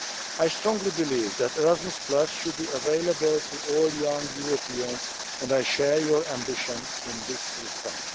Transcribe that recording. I strongly believe that Erasmus should be available to all young Europeans, and I share your ambition in this respect.